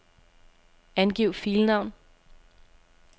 Angiv filnavn.